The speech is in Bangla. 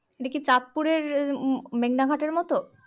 এটাকি চাঁদপুরের মেঘনা ঘাটের মতো